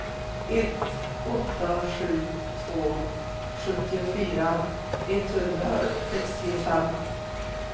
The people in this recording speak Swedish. ett åtta sju två sjuttiofyra etthundrasextiofem